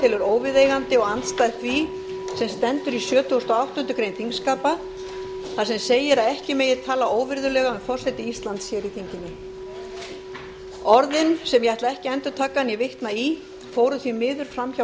telur óviðeigandi og andstætt því sem stendur í sjötugasta og áttundu greinar þingskapa þar sem segir að ekki megi tala óvirðulega um forseta íslands hér í þinginu orðin sem ég ætla ekki að endurtaka né vitna í fóru því miður fram hjá